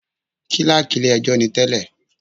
Kílákì ilé ẹjọ́ ni tẹ́lẹ̀.